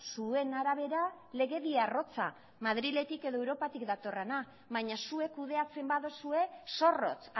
zuen arabera legedi arrotza madriletik edo europatik datorrena baina zuek kudeatzen baduzue zorrotz